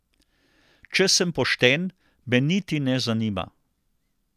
Če sem pošten, me niti ne zanima.